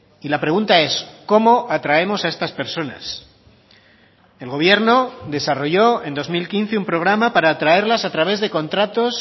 y la pregunta es cómo atraemos a estas personas el gobierno desarrolló en dos mil quince un programa para traerlas a través de contratos